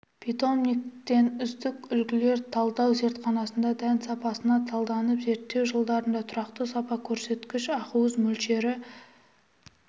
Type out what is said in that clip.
питомниктен үздік үлгілер талдау зертханасында дән сапасына талданды зерттеу жылдарында тұрақты сапа көрсеткіші ақуыз мөлшері